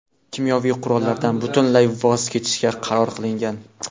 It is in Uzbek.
kimyoviy qurollardan butunlay voz kechishga qaror qilingan.